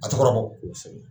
A tu kɔrɔ bɔ